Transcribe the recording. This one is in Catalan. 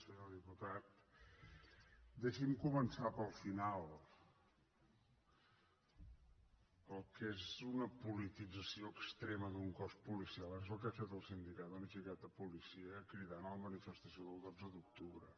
senyor diputat deixi’m començar pel final el que és una politització extrema d’un cos policial és el que ha fet el sindicat unificat de policia cridant a la manifestació del dotze d’octubre